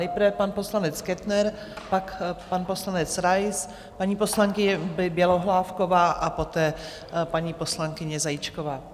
Nejprve pan poslanec Kettner, pak pan poslanec Rais, paní poslankyně Bělohlávková a poté paní poslankyně Zajíčková.